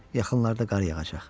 Yaxınlarda qar yağacaq.